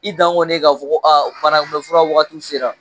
I dan kɔni ye ka fɔ ko banakunbɛn fura wagatiw sera.